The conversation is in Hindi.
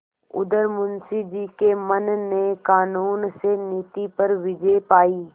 उधर मुंशी जी के मन ने कानून से नीति पर विजय पायी